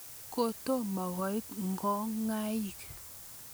Kotomo koit ng'okaik